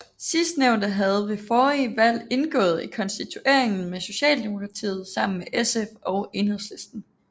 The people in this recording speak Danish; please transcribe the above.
Sidstnævnte havde ved forrige valg indgået i konstitueringen med Socialdemokratiet sammen med SF og Enhedslisten